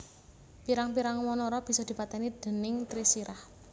Pirang pirang wanara bisa dipatèni déning Trisirah